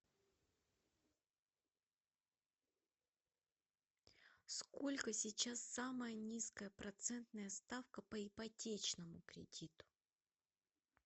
сколько сейчас самая низкая процентная ставка по ипотечному кредиту